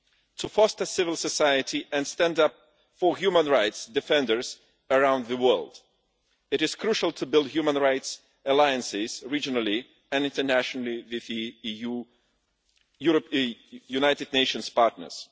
To foster civil society and stand up for human rights defenders around the world, it is crucial to build human rights alliances regionally and internationally with our United Nations partners.